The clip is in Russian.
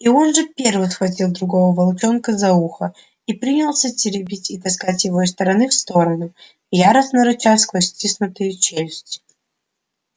и он же первый схватил другого волчонка за ухо и принялся теребить и таскать его из стороны в сторону яростно рыча сквозь стиснутые челюсти